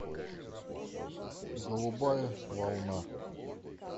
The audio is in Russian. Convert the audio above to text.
голубая волна